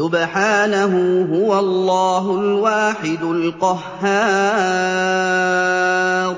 سُبْحَانَهُ ۖ هُوَ اللَّهُ الْوَاحِدُ الْقَهَّارُ